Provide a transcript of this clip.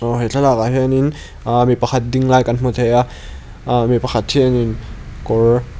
he thlalak ah hian in mi pakhat ding lai kan hmu thei a ahh mi pakhat hian in kawr.